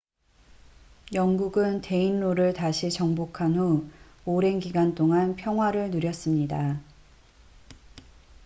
영국은 데인로를 다시 정복한 후 오랜 기간 동안 평화를 누렸습니다